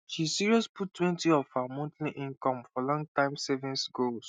she serious puttwentyof her monthly income for longterm savings goals